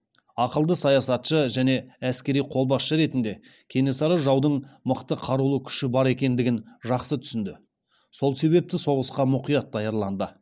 ақылды саясатшы және әскери қолбасшы ретінде кенесары жаудың мықты қарулы күші бар екендігін жақсы түсінді сол себепті соғысқа мұқият даярланды